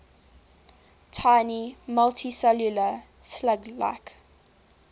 tiny multicellular slug like